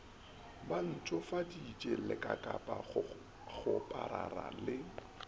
ba ntshofaditše lekakapa kgoparara le